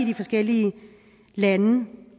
de forskellige lande